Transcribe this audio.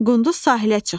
Qunduz sahilə çıxdı.